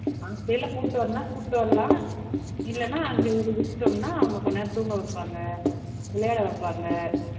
கூட்டிட்டு வரணும்ன்னா கூட்டிட்டு வரலாம் இல்லைன்னா அங்கே இங்கே விட்டுட்டோம்ன்னா அவங்க கொஞ்ச நேரம் தூங்க வைப்பாங்க விளையாட வைப்பாங்க